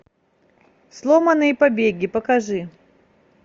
сломанные побеги покажи